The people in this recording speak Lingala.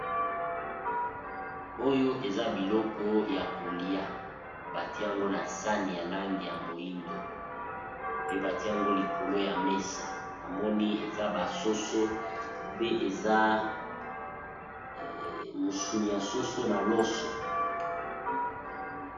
Oyo eza biloko ya kolia ba tiango na sani ya langi ya moyindo pe ba tiango likolo ya mesa . Na moni eza ba soso pe eza musuni ya soso na loso .